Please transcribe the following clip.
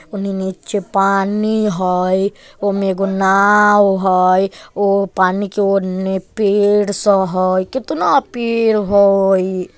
ओने नीचे पानी हई ओ में एगो नाव हई ओ पानी के ओर पेड़ स हई केतना पेड़ हई।